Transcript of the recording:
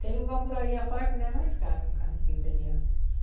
Tem lugar por aí a fora que não é mais caro, um carro-pipa de água.